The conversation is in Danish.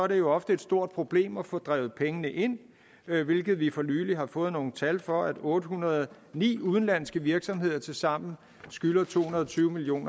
det jo ofte et stort problem at få drevet pengene ind hvilket vi for nylig har fået nogle tal for nemlig at otte hundrede og ni udenlandske virksomheder tilsammen skylder to hundrede og tyve million